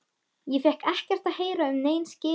Ég fékk ekkert að heyra um nein skilyrði.